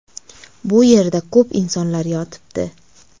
Bu yerda ko‘p insonlar yotibdi.